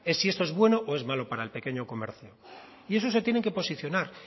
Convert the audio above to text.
es si esto es bueno o es malo para el pequeño comercio y eso se tienen que posicionar